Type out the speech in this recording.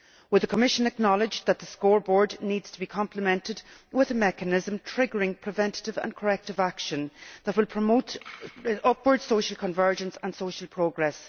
Will the Commission acknowledge that the scoreboard needs to be complemented with a mechanism triggering preventive and corrective action that will promote upward social convergence and social progress?